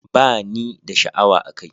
Ba ni da sha'awa a kai